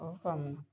O faamu na